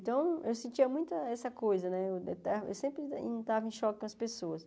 Então, eu sentia muito essa coisa, né eu sempre estava em choque com as pessoas.